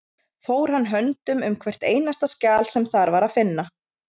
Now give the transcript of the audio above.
Fór hann höndum um hvert einasta skjal sem þar var að finna.